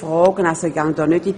Ich gehe hier nicht ins Detail.